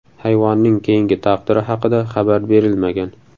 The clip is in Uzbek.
Hayvonning keyingi taqdiri haqida xabar berilmagan.